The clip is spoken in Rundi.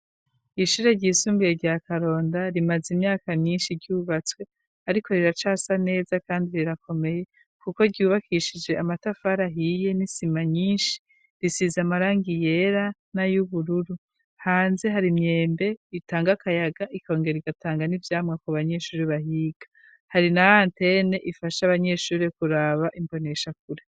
Ishure ryisumbiye rya Karonda rimaze imyaka myinshi ryubatswe ariko riracasa neza kandi rirakomeye kuko ryubakishije amatafari ahiye n'isima nyinshi risize amarangi yera na y'ubururu hanze hari imyembe itanga akayaga ikongero igatanga n'ivyamwa ku banyeshure bahiga hari na antene ifasha abanyeshure kuraba imbonesha kure.